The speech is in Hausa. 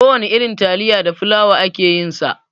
Kowana irin talifa da fulawa ake yin sa.